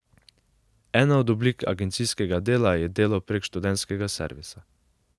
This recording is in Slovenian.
Ena od oblik agencijskega dela je delo prek študentskega servisa.